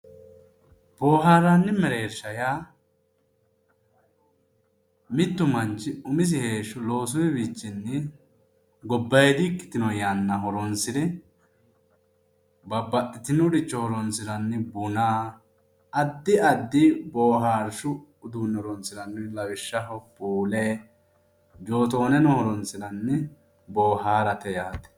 Boihaarranni mereersha yaa mittu manch umisi heeshsho loosuwiichinni gobbayiidi ikkitino yanna horonsire babbaxitinoricho horonsiranni buna addi addi boohaarshu uduunne horonsirannori lawishshaho puule joottooneno horonsiranni boohaarate yaate.